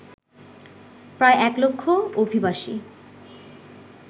প্রায় এক লক্ষ অভিবাসী